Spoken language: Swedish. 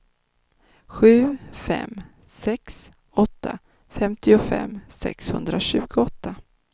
sju fem sex åtta femtiofem sexhundratjugoåtta